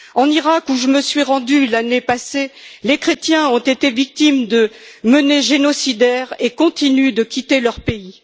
En Iraq, où je me suis rendue l'année passée, les chrétiens ont été victimes de menées génocidaires et continuent de quitter leur pays.